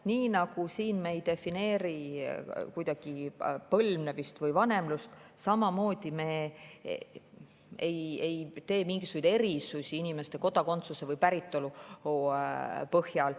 Nii nagu me ei defineeri siin kuidagi põlvnemist või vanemlust, ei tee me ka mingisuguseid erisusi inimeste kodakondsuse või päritolu põhjal.